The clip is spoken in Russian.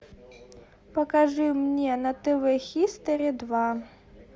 покажи мне на тв хистори два